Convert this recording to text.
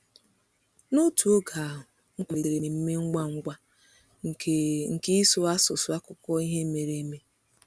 N’otu oge ahụ, Nwankwo malitere mmemme ngwa ngwa nke nke ịsụ asụsụ akụkọ ihe mere eme.